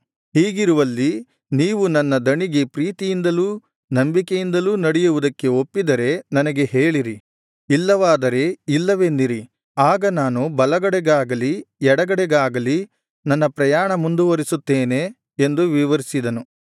ಹೀಗಿರುವಲ್ಲಿ ನೀವು ನನ್ನ ದಣಿಗೆ ಪ್ರೀತಿಯಿಂದಲೂ ನಂಬಿಕೆಯಿಂದಲೂ ನಡೆಯುವುದಕ್ಕೆ ಒಪ್ಪಿದರೆ ನನಗೆ ಹೇಳಿರಿ ಇಲ್ಲವಾದರೆ ಇಲ್ಲವೆನ್ನಿರಿ ಆಗ ನಾನು ಬಲಗಡೆಗಾಗಲಿ ಎಡಗಡೆಗಾಗಲಿ ನನ್ನ ಪ್ರಯಾಣ ಮುಂದುವರೆಸುತ್ತೇನೆ ಎಂದು ವಿವರಿಸಿದನು